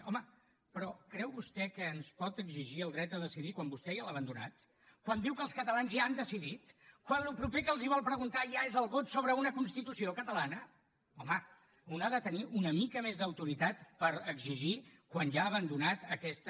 home però creu vostè que ens pot exigir el dret a decidir quan vostè ja l’ha abandonat quan diu que els catalans ja han decidit quan el proper que els vol preguntar ja és el vot sobre una constitució catalana home un ha de tenir una mica més d’autoritat per exigir quan ja ha abandonat aquesta